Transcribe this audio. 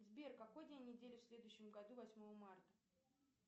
сбер какой день недели в следующем году восьмого марта